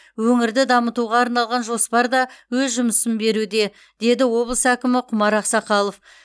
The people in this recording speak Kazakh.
өңірді дамытуға арналған жоспар да өз жемісін беруде деді облыс әкімі құмар ақсақалов